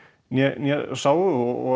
né sáu og